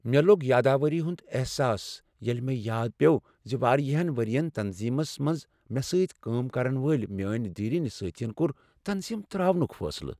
مےٚ لوٚگ یاداوری ہُند احساس ییلہ مےٚ یاد پیوٚو زِ واریہن ورۍین تنظیمس منز مےٚ سۭتی کٲم کرن وٲلۍ میٲنۍ دیرینہ ساتھین کوٚرتنظیم تراونک فیصلہ ۔